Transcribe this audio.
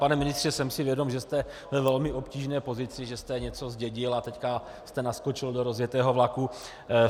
Pane ministře, jsem si vědom, že jste ve velmi obtížné pozici, že jste něco zdědil a teď jste naskočil do rozjetého vlaku.